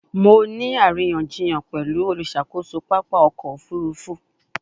Mo ni ariyanjiyan pẹlu oluṣakoso papa ọkọ ofurufu